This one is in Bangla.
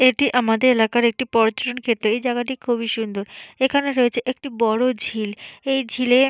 এটি আমাদের এলাকার একটি পর্যটন কেন্দ্র এই জায়গাটি খুবই সুন্দর এখানে রয়েছে একটি বড় ঝিল এই ঝিলে--